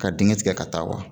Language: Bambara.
Ka digɛn tigɛ ka taa wa